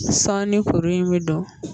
Sɔɔni kuru in bɛ don